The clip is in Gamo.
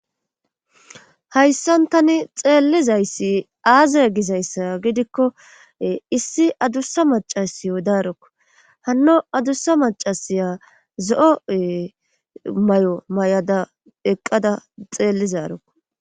hayssan tani xeellizayssi aazae gizayssa gidikko issi adussa macasi wo darokko hanno adussa macasiya zo7oe may7o mayada eqqada xeellizarokko